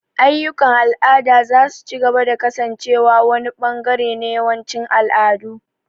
Ayyukan al'ada za su ci gaba da kasancewa wani ɓangare na yawancin al'adu.